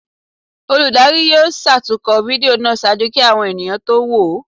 Olùdarí yóò ṣatunkọ fídío náá ṣaaju ki awọn eníyan to wo o